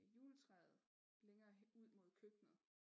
Juletræet længere ud mod køkkenet